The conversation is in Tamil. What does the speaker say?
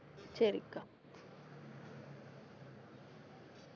சரிக்கா